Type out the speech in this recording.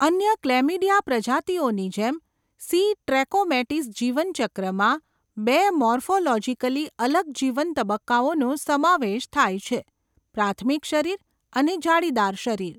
અન્ય ક્લેમીડિયા પ્રજાતિઓની જેમ, સી. ટ્રેકોમેટિસ જીવન ચક્રમાં બે મોર્ફોલોજિકલી અલગ જીવન તબક્કાઓનો સમાવેશ થાય છે, પ્રાથમિક શરીર અને જાળીદાર શરીર.